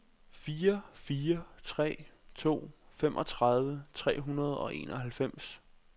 fire fire tre to femogtredive tre hundrede og enoghalvfems